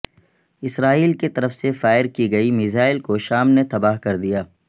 اسرائیل کی طرف سے فائر کی گئی میزائل کو شام نے تباہ کردیا